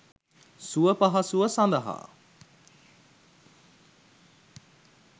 සුවපහසුව සඳහා